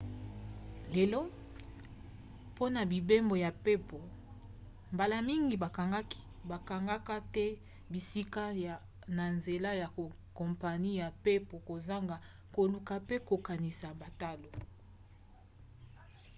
lelo mpona mibembo ya mpepo mbala mingi bakangaka te bisika na nzela ya kompani ya mpepo kozanga koluka mpe kokanisa batalo